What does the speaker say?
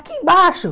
Aqui embaixo!